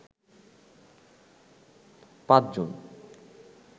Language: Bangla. পাঁচ জন